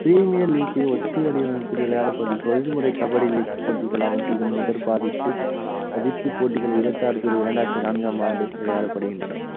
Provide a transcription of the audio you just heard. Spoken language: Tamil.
premiere league ஒத்து வடிவமைப்பில் விளையாடப்படும் தொழில் முறை கபடி league போட்டிகளாகும் இதன் முதற்பாதிப்பு தனித்து போட்டிகள் இருபத்தி ஆறு புள்ளி இரண்டாயிரத்தி நான்காம் ஆண்டு விளையாடப்படுகின்றன